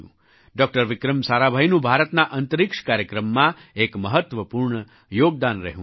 doctor Vikram સારાભાઈનું ભારતના અંતરિક્ષ કાર્યક્રમમાં એક મહત્ત્વપૂર્ણ યોગદાન રહ્યું છે